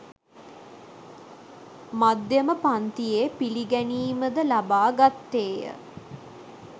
මධ්‍යම පංතියේ පිළිගැනීම ද ලබා ගත්තේය.